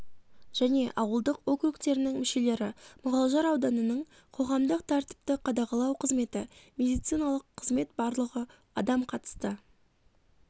және ауылдық округтерінің мүшелері мұғалжар ауданының қоғамдық тәртіпті қадағалау қызметі медициналық қызмет барлығы адам қатысты